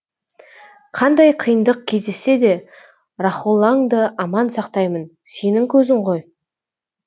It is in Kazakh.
қандай қиындық кездессе де рахоллаңды аман сақтаймын сенің көзің ғой